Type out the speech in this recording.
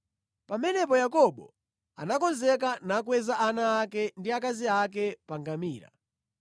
Pamenepo Yakobo anakonzeka nakweza ana ake ndi akazi ake pa ngamira,